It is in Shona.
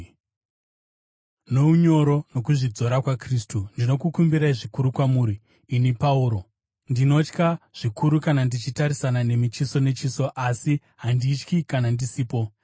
Nounyoro nokuzvidzora kwaKristu, ndinokumbira zvikuru kwamuri, ini Pauro, “ndinotya” zvikuru kana ndichitarisana nemi chiso nechiso asi, “handityi” kana ndisipo!